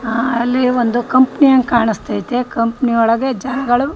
ಆಹ್ಹ್ ಅಲ್ಲಿ ಒಂದು ಕಂಪನಿ ಹಂಗ ಕಾಣಿಸ್ತಿಯಾತಿ. ಕಂಪನಿ ಒಳಗೆ ಜನಗಳು --